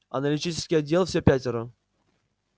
аналитический отдел все пятеро